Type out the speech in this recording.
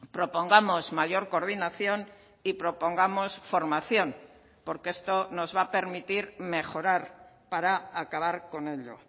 propongamos mayor coordinación y propongamos formación porque esto nos va a permitir mejorar para acabar con ello